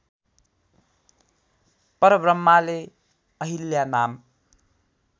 परब्रम्हाले अहिल्या नाम